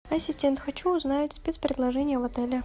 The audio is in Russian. ассистент хочу узнать спецпредложения в отеле